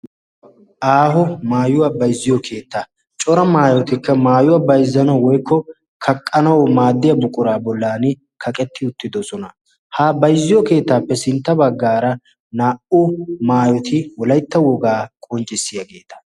aaho maayuwaa bayzziyo keetta. cora maayotikka maayuwaa bayzzana woykko kaqqanaw maaddiya buquraa bollan kaqetti uttidosona. ha bayzziyo keettaappe sintta baggaara naa77u maayoti wolaytta wogaa qonccissiyaageeta.